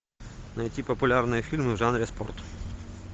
найти популярные фильмы в жанре спорт